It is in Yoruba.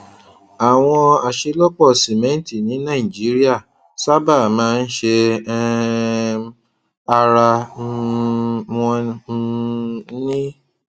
àwọn aṣelọpọ simẹnti ní nàìjíríà sábà máa ń ṣe um ara um wọn um ni